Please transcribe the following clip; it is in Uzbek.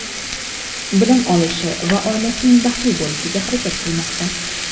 bilim olishi va oilasining baxtli bo‘lishiga harakat qilmoqda.